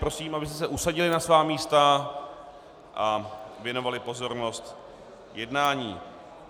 Prosím, abyste se usadili na svá místa a věnovali pozornost jednání.